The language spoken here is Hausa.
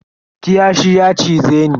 Kiyashi ya cize ni.